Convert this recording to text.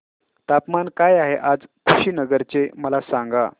तापमान काय आहे आज कुशीनगर चे मला सांगा